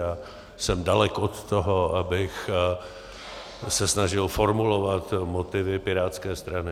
A jsem daleko od toho, abych se snažil formulovat motivy pirátské strany.